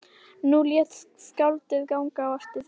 Nú lét skáldið ganga á eftir sér.